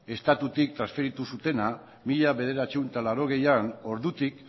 estatutik transferitu zutena mila bederatziehun eta laurogeian ordutik